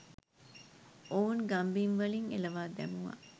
ඔවුන් ගම්බිම්වලින් එළවා දැමුවා.